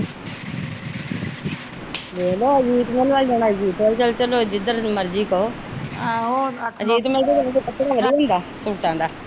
ਵੇਖ ਲਾ ਅਜੀਤ ਮਿਲ ਵੱਲ ਜਾਣਾ ਅਜੀਤ ਮਿਲ ਵੱਲ ਚੱਲ ਪੈਂਦੇ ਆ ਜਿਧਰ ਮਰਜੀ ਕਹੋ ਆਹੋ ਅਜੀਤ ਮਿਲ ਚ ਕੱਪੜਾ ਵਧੀਆਂ ਹੁੰਦਾ ਸੂਟਾਂ ਦਾ।